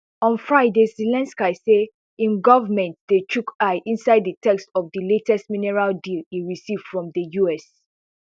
on friday zelensky say im government dey chook eye inside di text of di latest minerals deal e receive from the us